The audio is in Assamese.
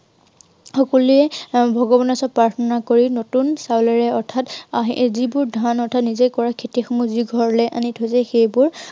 সকলোৱে আহ ভগৱানৰ ওচৰত প্ৰাৰ্থনা কৰি নতুন চাউলেৰে অৰ্থাৎ আহ এই যিবোৰ ধান অৰ্থা নিজে কৰা খেতিসমূহ যি ঘৰলৈ আনি থৈছে, সেইবোৰ